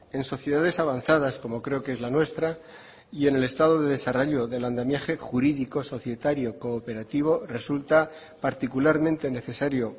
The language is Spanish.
en sociedades avanzadas como creo que es la nuestra y en el estado de desarrollo del andamiaje jurídico societario y cooperativo resulta particularmente necesario